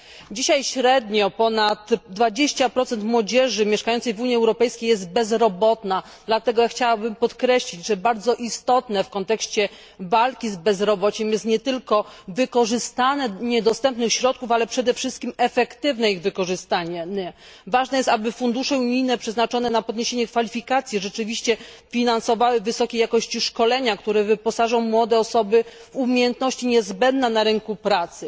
Dzisiaj średnio ponad 20 młodzieży mieszkającej w Unii Europejskiej jest bezrobotnych, dlatego chciałabym podkreślić, że bardzo istotne w kontekście walki z bezrobociem jest nie tylko wykorzystanie dostępnych środków, ale przede wszystkim efektywne ich wykorzystanie. Ważne jest, aby fundusze unijne przeznaczone na podniesienie kwalifikacji rzeczywiście finansowały wysokiej jakości szkolenia, które wyposażą młode osoby w umiejętności niezbędne na rynku pracy.